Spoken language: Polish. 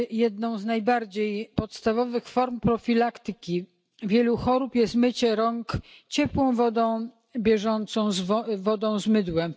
Jedną z najbardziej podstawowych form profilaktyki wielu chorób jest mycie rąk bieżącą ciepłą wodą z mydłem.